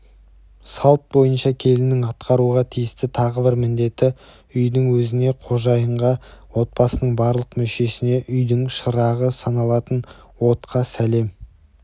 салт бойынша келіннің атқаруға тиісті тағы бір міндеті үйдің өзіне қожайынға отбасының барлық мүшесіне үйдің шырағы саналатын отқа сәлем